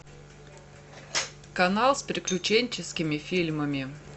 канал с приключенческими фильмами